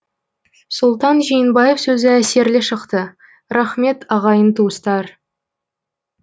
сұлтан жиенбаев сөзі әсерлі шықты рахмет ағайын туыстар